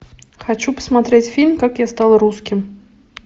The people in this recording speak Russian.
хочу посмотреть фильм как я стал русским